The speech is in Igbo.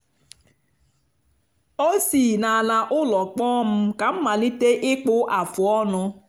ọ si n’ala ụlọ kpọọ m ka m malite ịkpụ afụ ọnụ.